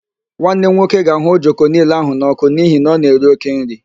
Nwanne m nwoke ga-ahụ ojoko niile ahụ n'ọkụ n'ihi na ọ na-eri oke nri